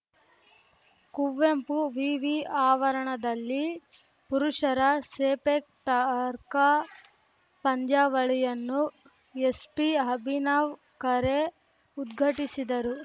ಕುವೆಂಪು ವಿವಿ ಆವರಣದಲ್ಲಿ ಪುರುಷರ ಸೆಪೆಕ್‌ ಟಕ್ರಾ ಪಂದ್ಯಾವಳಿಯನ್ನು ಎಸ್ಪಿ ಅಭಿನವ್‌ ಖರೆ ಉದ್ಘಟಿಸಿದರು